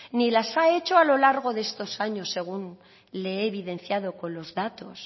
ni las he hecho a lo largo de estos años según le he evidenciado con los datos